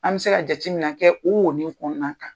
An be se ka jatemina kɛ o wonin kɔɔna kan.